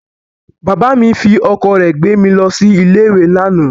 Bàbá mi fi ọkọ̀ rẹ̀ gbé mi lọ sí ilé-ìwé lánàá.